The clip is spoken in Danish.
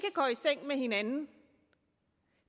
går i seng med hinanden